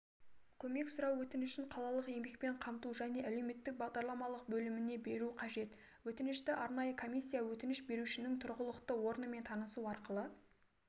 көмек сұрау өтінішін қалалық еңбекпен қамту және әлеуметтік бағдарламалар бөліміне беру қажет өтінішті арнайы комиссия өтініш берушінің тұрғылықты орнымен танысу арқылы